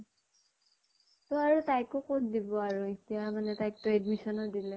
অ আৰু তাইকো কʼত দিব আৰু এতিয়া মানে তাইক তো admission উ দিলে।